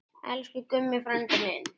Elsku Gummi frændi minn.